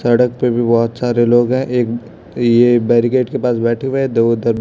सड़क पे भी बहोत सारे लोग हैं एक ये बैरीगेट के पास बैठे हुए हैं दो उधर--